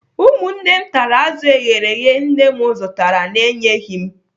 Ụmụnne m tachara azụ eghere eghe nne m zụtara na-enyeghị m